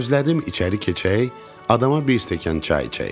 Gözlədim içəri keçək, adama bir stəkan çay içək.